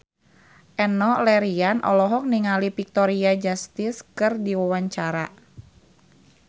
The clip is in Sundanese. Enno Lerian olohok ningali Victoria Justice keur diwawancara